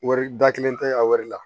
Wari da kelen tɛ a wari la